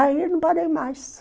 Aí não parei mais.